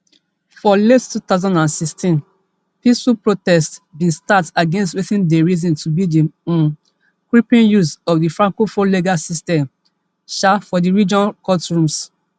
for late two thousand and sixteen peaceful protests bin start against wetin dem reason to be di um creeping use of di francophone legal system um for di region courtrooms